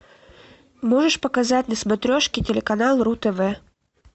можешь показать на смотрешке телеканал ру тв